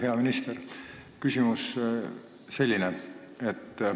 Hea minister!